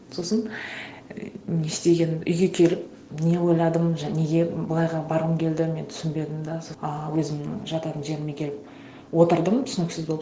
сосын не істегенім үйге келіп не ойладым неге былайға барғым келді мен түсінбедім да а өзімнің жататын жеріме келіп отырдым түсініксіз болып